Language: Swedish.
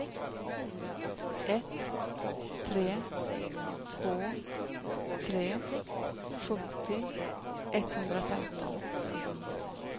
ett tre två tre sjuttio etthundrafemton